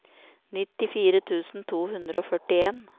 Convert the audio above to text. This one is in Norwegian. nittifire tusen to hundre og førtien